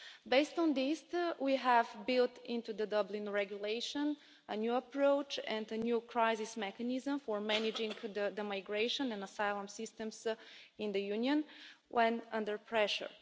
Based on this, we have built into the Dublin Regulation a new approach and a new crisis mechanism for managing the migration and asylum systems in the Union when under pressure.